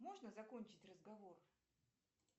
можно закончить разговор